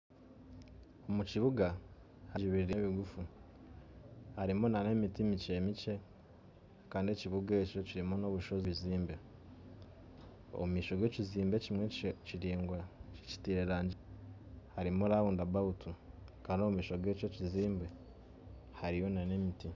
Omu kibuga haijwiremu emigufu, harimu na n'emiti mikye mikye, kandi ekibuga ekyo kirimu n'ebikushusha ebizimbe omu maisho g'ekizimbe ekimwe kiraingwa kitire erangi harimu rawunda bawutu, kandi omu maisho g'ekyo ekizimbe hariyo na n'emiti.